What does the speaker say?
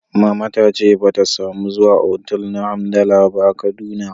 Mama ta ce ba ta samu zuwa otal na hamdala ba a Kaduna